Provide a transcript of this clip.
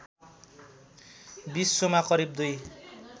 विश्वमा करिव २